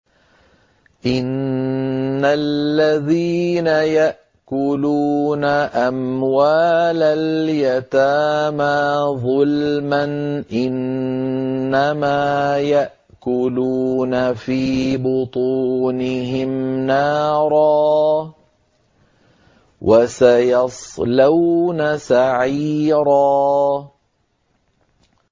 إِنَّ الَّذِينَ يَأْكُلُونَ أَمْوَالَ الْيَتَامَىٰ ظُلْمًا إِنَّمَا يَأْكُلُونَ فِي بُطُونِهِمْ نَارًا ۖ وَسَيَصْلَوْنَ سَعِيرًا